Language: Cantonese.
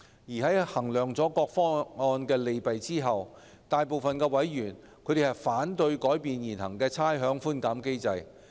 在衡量各方案的利弊後，財經事務委員會大部分委員反對改變現行的差餉寬減機制。